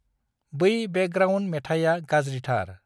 बै बेकग्राउन्द मेथाइया गाज्रिथारI